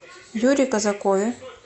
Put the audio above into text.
юре казакове